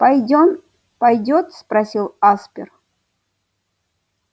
пойдём пойдёт спросил аспер